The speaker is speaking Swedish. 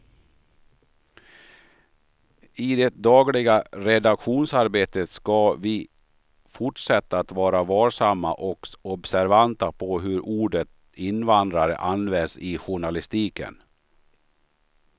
I det dagliga redaktionsarbetet ska vi fortsätta att vara varsamma och observanta på hur ordet invandrare används i journalistiken.